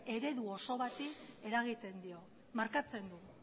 eredu oso bati eragiten dio markatzen du